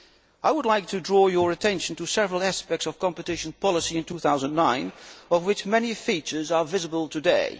I would like to draw your attention to several aspects of competition policy in 2009, of which many features are visible today.